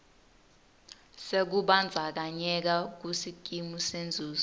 sekubandzakanyeka kusikimu senzuzo